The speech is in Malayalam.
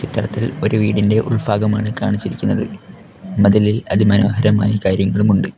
ചിത്രത്തിൽ ഒരു വീടിൻറെ ഉൾഭാഗം ആണ് കാണിച്ചിരിക്കുന്നത് അതിലിൽ അതി മനോഹരമായി കാര്യങ്ങളും ഉണ്ട്.